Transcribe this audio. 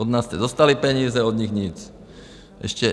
Od nás jste dostali peníze, od nich nic.